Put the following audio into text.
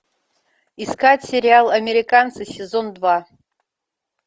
искать сериал американцы сезон два